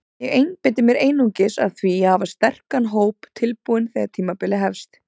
Ég einbeiti mér einungis að því að hafa sterkan hóp tilbúinn þegar tímabilið hefst.